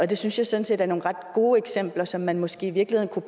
det synes jeg sådan set er nogle ret gode eksempler som man måske i virkeligheden